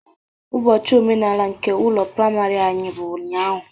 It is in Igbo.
Ubochi omenala nke ụlọ praịmarị anyị bụ ụnyaahụ